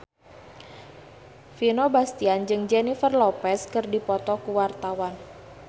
Vino Bastian jeung Jennifer Lopez keur dipoto ku wartawan